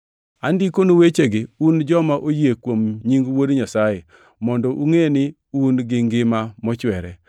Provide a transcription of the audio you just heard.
Andikonu wechegi, un joma oyie kuom nying Wuod Nyasaye, mondo ungʼe ni un gi ngima mochwere.